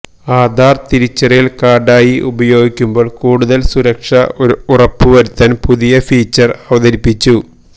ആധാർ തിരിച്ചറിയൽ കാർഡായി ഉപയോഗിക്കുമ്പോൾ കൂടുതൽ സുരക്ഷ ഉറപ്പുവരുത്താൻ പുതിയ ഫീച്ചർ അവതരിപ്പിച്ചു